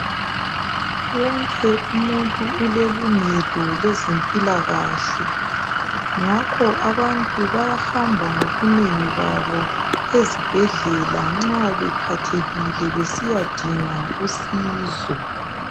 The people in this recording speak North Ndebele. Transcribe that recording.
Wonke umuntu ulelungelo lezempila kahle ngakho abantu bayahamba ngobunengi babo ezibhedlela nxa bephathekile besiyadinga usizo